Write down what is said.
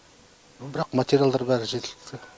бірақ материалдар бәрі жеткілікті